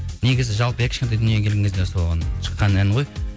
негізі жалпы иә кішкентай дүние келген кезде соған шыққан ән ғой